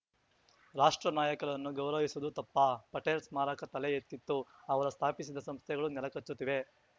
ರಾಷ್ಟ್ರ ನಾಯಕರನ್ನು ಗೌರವಿಸುವುದು ತಪ್ಪಾ ಪಟೇಲ್‌ ಸ್ಮಾರಕ ತಲೆ ಎತ್ತಿತು ಅವರು ಸ್ಥಾಪಿಸಿದ ಸಂಸ್ಥೆಗಳು ನೆಲಕಚ್ಚುತ್ತಿವೆ